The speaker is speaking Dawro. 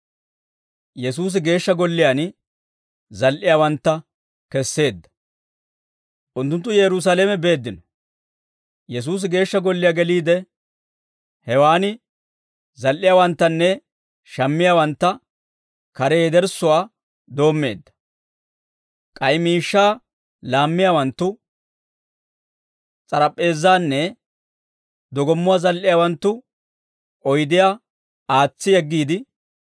Unttunttu Yerusaalame beeddino; Yesuusi Geeshsha Golliyaa geliide, hewaan zal"iyaawanttanne shammiyaawantta kare yederssuwaa doommeedda; k'ay miishshaa laammiyaawanttu s'arap'p'eezaanne dogommuwaa zal"iyaawanttu oydiyaa aatsi yeggiide,